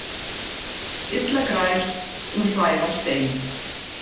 Illa grær um hræðan stein.